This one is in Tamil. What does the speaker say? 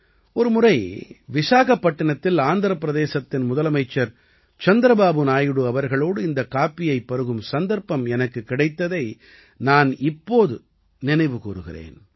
ஒருமுறை விசாகப்பட்டினத்தில் ஆந்திரப் பிரதேசத்தின் முதலமைச்சர் சந்திரபாபு நாயுடு அவர்களோடு இந்தக் காப்பியைப் பருகும் சந்தர்ப்பம் எனக்குக் கிடைத்ததை நான் இப்போது நினைவு கூருகிறேன்